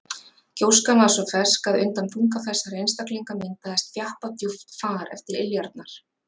Gjóskan var svo fersk að undan þunga þessara einstaklinga myndaðist þjappað djúpt far eftir iljarnar.